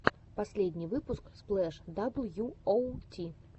последний выпуск сплэш дабл ю оу ти